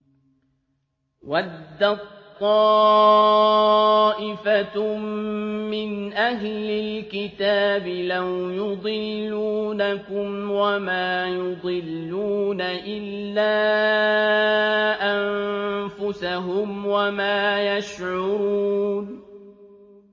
وَدَّت طَّائِفَةٌ مِّنْ أَهْلِ الْكِتَابِ لَوْ يُضِلُّونَكُمْ وَمَا يُضِلُّونَ إِلَّا أَنفُسَهُمْ وَمَا يَشْعُرُونَ